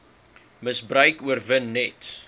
misbruik oorwin net